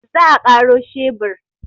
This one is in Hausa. Za a karo shebur.